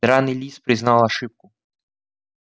драный лис признал ошибку